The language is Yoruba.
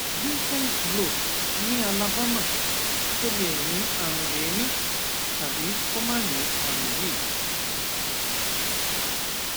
vincents blowth ní alabama tó lè ní àrùn èémí tàbí kó má ní àrùn yìí